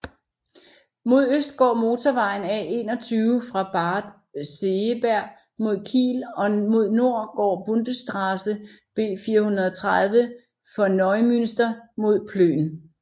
Mod øst går motorvejen A21 fra Bad Segeberg mod Kiel og mod nord går Bundesstraße B430 fra Neumünster mod Plön